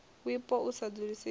wipo u sa dzulisea hashu